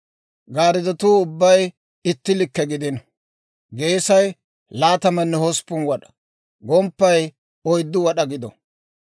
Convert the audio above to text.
Gariddotuu ubbay itti likke gidino; geesay laatamanne hosppun wad'a; gomppay oyddu wad'aa gido.